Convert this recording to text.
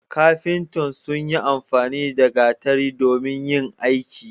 kafintan sun yi amfani na gatari domin yin aiki